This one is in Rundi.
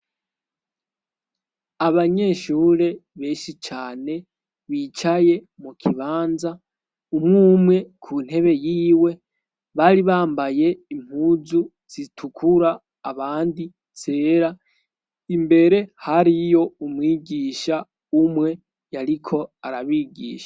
abanyeshure beshi cane bicaye mu kibanza umwumwe kuntebe yiwe bari bambaye impuzu zitukura abandi zera imbere hariyo umwigisha umwe yariko arabigisha